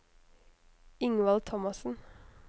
Ingvald Thomassen